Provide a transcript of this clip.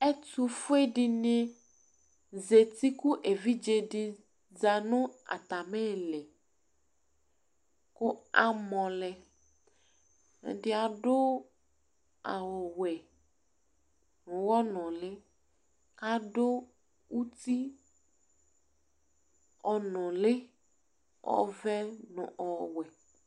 Ɛtʋfʋe ɖíni zɛti kʋ evidze ɖíni za ŋu atamìli kʋ amɔlɛ Ɛdí aɖu awu wɛ ʋwɔ ŋʋli Aɖu ʋti ɔnʋli ɔvɛ ŋu ɔwɛ